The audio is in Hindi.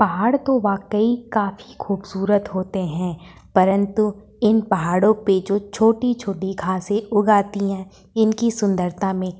पहाड़ तो वाकई काफी खुबसूरत होते हैं परन्तु इन पहाड़ो पे जो छोटी-छोटी घासें उग आती हैं। इनकी सुंदरता में --